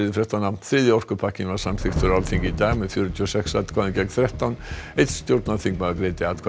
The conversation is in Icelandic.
þriðji orkupakkinn var samþykktur á Alþingi í dag með fjörutíu og sex atkvæðum gegn þrettán einn stjórnarþingmaður greiddi atkvæði